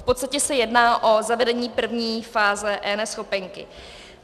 V podstatě se jedná o zavedení první fáze eNeschopenky.